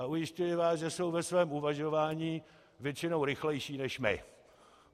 A ujišťuji vás, že jsou ve svém uvažování většinou rychlejší než my.